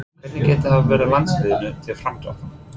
Hvernig getur það verið landsliðinu til framdráttar?